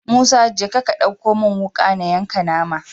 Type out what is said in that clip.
Musa jeka ka ɗauko mun wuka na yanka nama